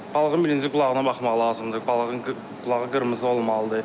Balığın birinci qulağına baxmaq lazımdır, balığın qulağı qırmızı olmalıdır.